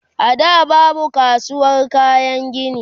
a da babu kasuwar kayan gini